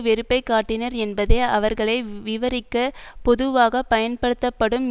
வெறுப்பை காட்டினர் என்பதை அவர்களை விவரிக்கப் பொதுவாக பயன்படுத்தப்படும்